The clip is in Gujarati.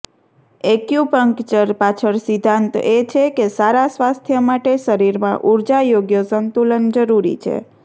એક્યુપંકચર પાછળ સિદ્ધાંત એ છે કે સારા સ્વાસ્થ્ય માટે શરીરમાં ઊર્જા યોગ્ય સંતુલન જરૂરી છે